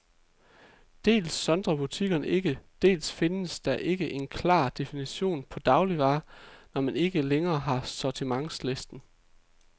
Dels sondrer butikkerne ikke, dels findes der ikke en klar definition på dagligvarer, når man ikke længere har sortimentslisten.